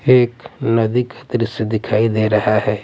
एक नदी का द्रश्य दिखाई दे रहा हैं ।